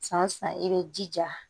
San o san i bɛ jija